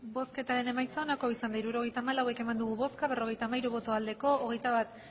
hirurogeita hamalau eman dugu bozka berrogeita hamairu bai hogeita bat